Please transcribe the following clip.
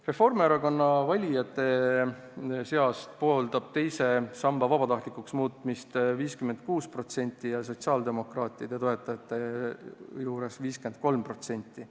Reformierakonna valijatest pooldab teise samba vabatahtlikuks muutmist 56% ja sotsiaaldemokraatide toetajatest 53%.